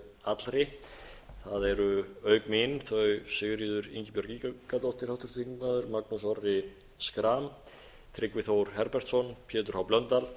allri það eru auk mín þau sigríður ingibjörg ingadóttir háttvirtir þingmenn magnús orri schram tryggvi þór herbertsson pétur h blöndal